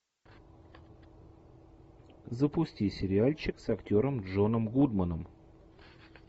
запусти сериальчик с актером джоном гудманом